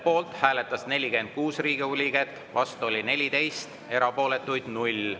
Poolt hääletas 46 Riigikogu liiget, vastu oli 14, erapooletuid 0.